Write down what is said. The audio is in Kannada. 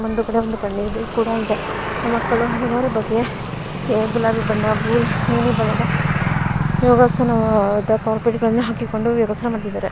ಒಂದು ಕಡೆ ಒಂದು ಕನ್ನಡಿಯು ಇದೆ ಇನ್ನೊಂದು ಕಡೆ ಮೂರು ಬಗೆಯ ಯೋಗಾಸನದ ಕಾರ್ಪೆಟ್ ಗಳನ್ನು ಹಾಕಿಕೊಂಡು ಯೋಗಾಸನ ಮಾಡುತ್ತಿದ್ದಾರೆ.